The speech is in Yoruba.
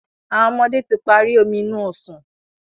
àwọn ọmọdé tí parí Omi inú ọsàn